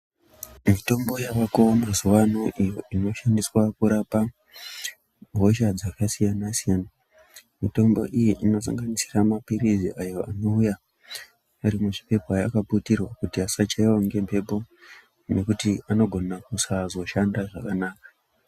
Mitombo yawako mazuwa ano iyo inoshandiswa kurapa hosha dzakasiyana siyana. Mitombo iyi inosanganisira maphirizi ayo anouya ari kuzvipepa akaputirwa kuti asachaiwa ngemhepo nekuti anogona kusazoshanda zvakanaka.